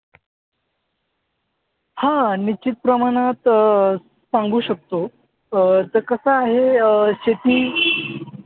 हां निश्चितप्रमाणात अं सांगू शकतो. अं तर कसं आहे अं शेती